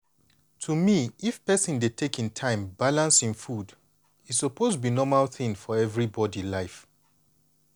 to me if persin dey take hin time balance hin food e suppose be normal thing for everybody life.